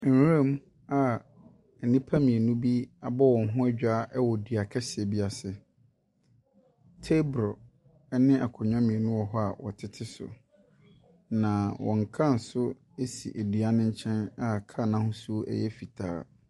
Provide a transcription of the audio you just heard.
Nwuram a nnipa mmienu bi abɔ wɔn ho adwaa wɔ dua kɛseɛ bi ase. Peebolo ne akonnwa mmienu wɔ hɔ a wɔtete so, na wɔn kaa nso si dua no nkyɛn a kaa no ahosuo yɛ fitaa.